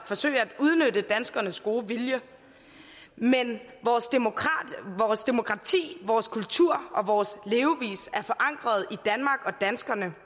forsøge at udnytte danskernes gode vilje men vores demokrati vores kultur og vores levevis er forankret i danmark og danskerne